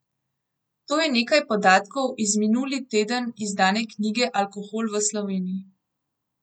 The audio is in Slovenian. To je nekaj podatkov iz minuli teden izdane knjige Alkohol v Sloveniji.